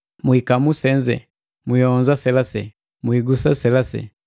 “Mwiikamu senze!” “Mwiionza selase!” “Mwiigusa selase!”